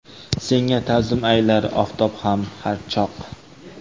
Senga ta’zim aylar oftob ham har choq.